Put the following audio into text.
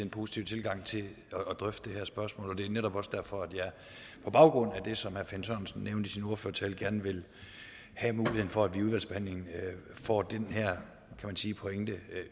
positive tilgang til at drøfte det her spørgsmål og det er netop også derfor at jeg på baggrund af det som herre finn sørensen nævnte i sin ordførertale gerne vil have muligheden for at vi i udvalgsbehandlingen får den her pointe